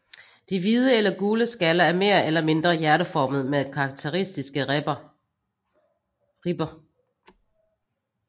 De hvide eller gule skaller er mere eller mindre hjerteformede med karakteristiske ribber